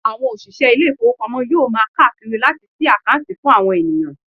Àwọn òṣìṣẹ́ ilé ìfowópamọ́ yóò máa káàkiri láti sí àkáǹtì fún àwọn ènìyàn.